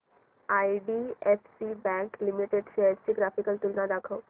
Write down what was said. IDFC bank limited shares ची graphical तुलना दाखव